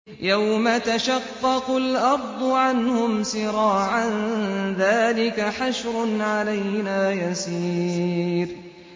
يَوْمَ تَشَقَّقُ الْأَرْضُ عَنْهُمْ سِرَاعًا ۚ ذَٰلِكَ حَشْرٌ عَلَيْنَا يَسِيرٌ